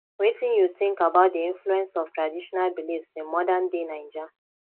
wetin you think about di influence of traditional beliefs in modernday naija